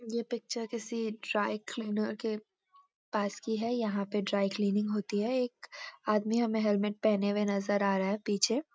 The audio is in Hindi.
ये पिक्‍चर किसी ड्राइक्‍लीनर के पास की है यहाँ पे ड्राइक्‍लीनिंग होती है एक आदमी हमें हेलमेट पहने नजर आ रहा है पीछे।